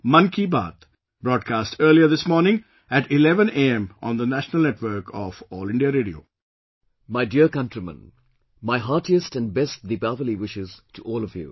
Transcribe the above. My dear countrymen, my heartiest and best Deepawali wishes to all of you